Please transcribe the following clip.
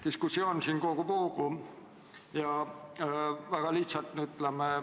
Diskussioon siin kogub hoogu.